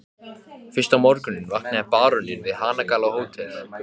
Fyrsta morguninn vaknaði baróninn við hanagal á Hótel